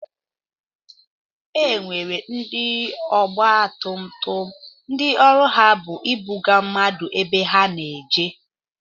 E nwere ndị ọgba tum tum ndị ọrụ ha bu ịbụga mmadụ ebe ha na-eje.